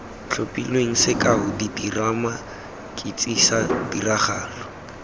tlhophilweng sekao diterama ketsisa tiragalo